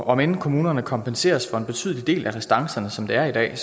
om end kommunerne kompenseres for en betydelig del af restancerne som det er i dag